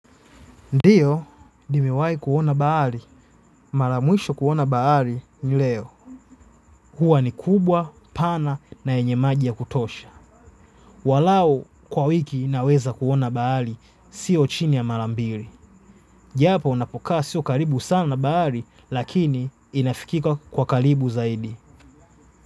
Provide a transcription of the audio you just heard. Ndio, nimewahi kuona bahari. Mara mwisho kuona bahari ni leo. Huwa ni kubwa, pana na yenye maji ya kutosha. Walau kwa wiki naweza kuona baali, siyo chini ya marambiri. Japo unapokaa siyo karibu sana baali, lakini inafikika kwa karibu zaidi.